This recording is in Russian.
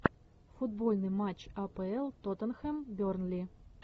футбольный матч апл тоттенхэм бернли